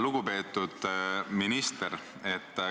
Lugupeetud minister!